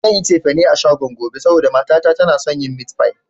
Zan yi cefane a shagon gobe, saboda mata ta tana son yin mit fai